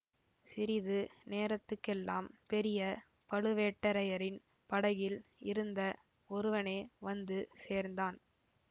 சிறிது நேரத்துக்கெல்லாம் பெரிய பழுவேட்டரையரின் படகில் இருந்த ஒருவனே வந்து சேர்ந்தான்